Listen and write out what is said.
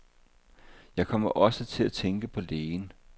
Jeg kommer også til at tænke på lægen.